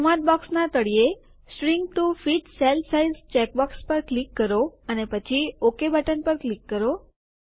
સંવાદ બોક્સનાં તળિયે shrink to fit cell size check box પર ક્લિક કરો અને પછી ઓકે બટન પર ક્લિક કરો